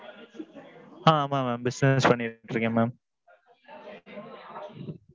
ஆ ஆ ஆமாம் mam business பண்ணிட்டு இருக்கேன் mam.